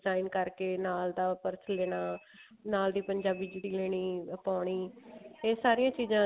design ਕਰਕੇ ਨਾਲ ਦਾ purse ਲੈਣਾ ਨਾਲ ਦੀ ਪੰਜਾਬੀ ਜੁੱਤੀ ਲੈਣੀ ਉਹ ਪਾਉਣੀ ਇਹ ਸਾਰੀਆਂ ਚੀਜ਼ਾਂ